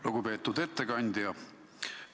Lugupeetud ettekandja!